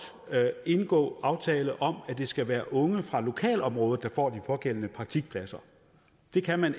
kan indgå aftale om at det skal være unge fra lokalområdet der får de pågældende praktikpladser det kan man